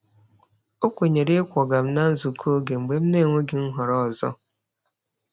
O kwenyere ịkwọga m na nzukọ oge mgbe m na-enweghị nhọrọ ọzọ.